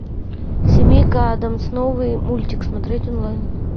семейка адамс новый мультик смотреть онлайн